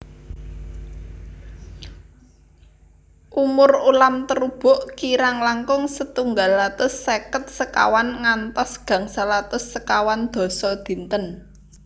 Umur ulam terubuk kirang langkung setunggal atus seket sekawan ngantos gangsal atus sekawan dasa dinten